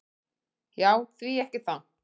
"""Já, því ekki það."""